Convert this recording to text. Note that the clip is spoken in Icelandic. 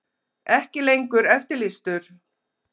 Ekki lengur eftirlýstur